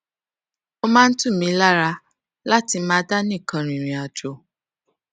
ó máa ń tù mí lára láti máa dá nìkan rìnrìn àjò